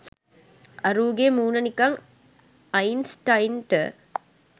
අරූගේ මූණ නිකන් අයින්ස්ටයින්ට